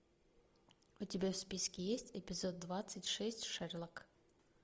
у тебя в списке есть эпизод двадцать шесть шерлок